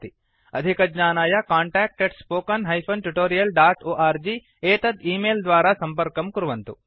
अधिकज्ञानाय contactspoken tutorialorg एतत् email द्वारा सम्पर्कं कुर्वन्तु